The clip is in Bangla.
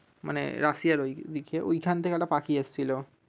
মানে রাশিয়ার ওই দিকে ওইখান থেকে একটা পাখি এসেছিলো।